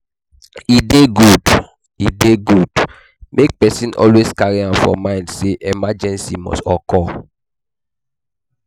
E dey good e dey good make person always carry am for mind sey emergency must occur